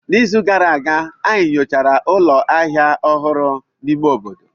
N'izu gara aga, anyị nyochara ụlọ ahịa ọhụrụ n'ime obodo.